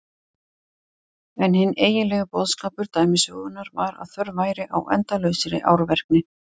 En hinn eiginlegi boðskapur dæmisögunnar var að þörf væri á endalausri árvekni.